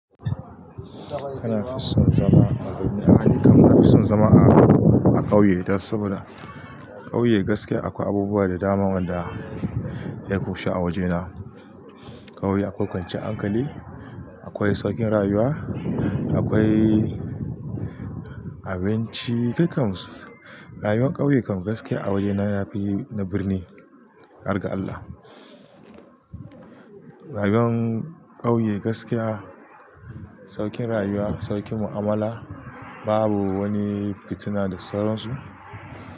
Kana fison zama a birni. A nikam nafi sun zama a birni a ƙauye dan saboda ƙauye gaskiya akwai abubuwa da dama wanda ya kushe a wajena. Ƙauye akwai kwancan ankali, akwai saukin rayuwa, akwai abinci, kai kam rayuean ƙauye kam gaskiya a wajena yafi na birni ƙar ga Allah. Rayuwan ƙauye gaskiya saukin rayuwa, saukin mu'amala, babu wani fitina da sauran su.